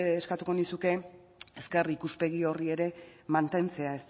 eskatuko nizuke ezker ikuspegi horri ere mantentzea